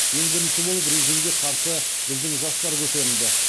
ең бірінші болып режимге қарсы біздің жастар көтерілді